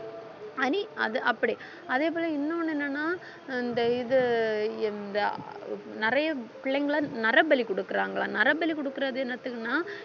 அணி~ அது அப்படி அதே போல இன்னொன்னு என்னன்னா இந்த இது இந்த அஹ் நிறைய பிள்ளைங்களை நரபலி கொடுக்குறாங்களாம் நரபலி கொடுக்கிறது என்னத்துக்குன்னா